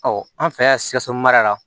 Ɔ an fɛ yan sikaso mara la